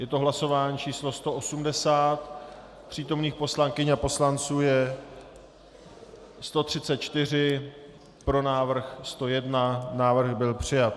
Je to hlasování číslo 180, přítomných poslankyň a poslanců je 134, pro návrh 101, návrh byl přijat.